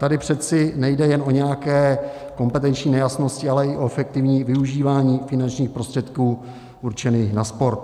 Tady přece nejde jen o nějaké kompetenční nejasnosti, ale i o efektivní využívání finančních prostředků určených na sport.